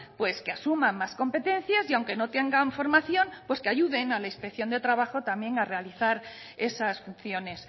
pues que asuman más competencias y aunque no tengan formación pues que ayuden a la inspección de trabajo a realizar esas funciones